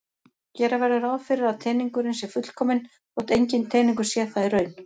Gera verður ráð fyrir að teningurinn sé fullkominn þótt enginn teningur sé það í raun.